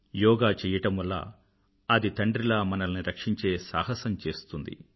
యోగా చెయ్యడం వల్ల అది తండ్రిలా మనల్ని రక్షించే సాహసం చేస్తుంది